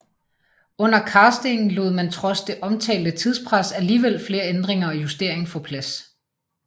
Under castingen lod man trods det omtalte tidspres alligevel flere ændringer og justering få plads